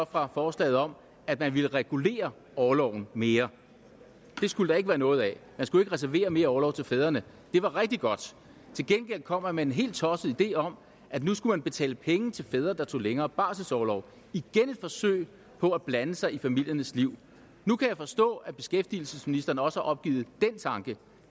fra forslaget om at man ville regulere orloven mere det skulle der ikke være noget af man skulle ikke reservere mere orlov til fædrene det var rigtig godt til gengæld kom man med en helt tosset idé om at nu skulle man betale penge til fædre der tog længere barselsorlov igen et forsøg på at blande sig i familiernes liv nu kan jeg forstå at beskæftigelsesministeren også har opgivet den tanke